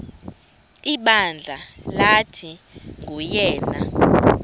ibandla lathi nguyena